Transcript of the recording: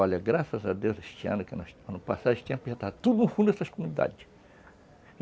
Olha, graças a Deus, este ano, já estava tudo no fundo dessas comunidades.